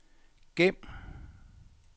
gem